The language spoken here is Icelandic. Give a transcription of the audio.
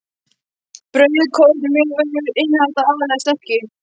Brauð, korn og mjölvörur innihalda aðallega sterkju.